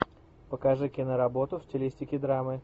покажи киноработу в стилистике драмы